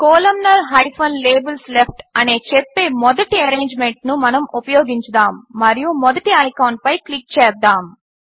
columnar labels left అని చెప్పే మొదటి ఎరేంజ్మెంట్ను మనము ఉపయోగించుదాము మరియు మొదటి ఐకాన్పై క్లిక్ చేద్దాము